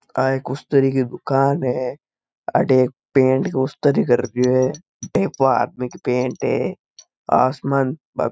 आ एक स्री की दुकान है अटे पैंट स्री करते है एक्वा आदमी की पैंट है आसमानी --